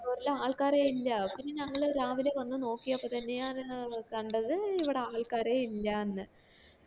floor ല് ആൾക്കാരെ ഇല്ല പിന്നെ ഞങ്ങ രാവിലെ വന്നു നോക്കിയപ്പോ തന്നെയാണ് കണ്ടത് ഇവിടെ ആൾക്കാരെ ഇല്ല ന്നു